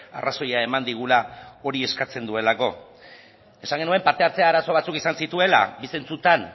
arrazoia eman digula hori eskatzen duelako esan genuen parte hartze arazo batzuk izan zituela bi zentzutan